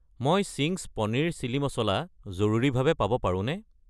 মই Ching's paneer chilli masala জৰুৰীভাৱে পাব পাৰোঁনে?